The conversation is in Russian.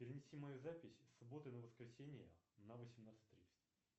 перенеси мою запись с субботы на воскресенье на восемнадцать тридцать